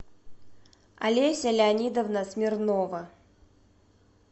олеся леонидовна смирнова